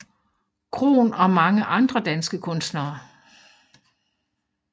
Krohn og mange andre danske kunstnere